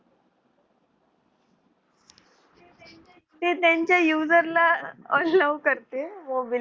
ते त्यांच्या user ला allow करते.